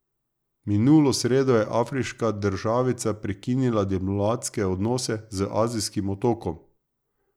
Minulo sredo je afriška državica prekinila diplomatske odnose z azijskim otokom.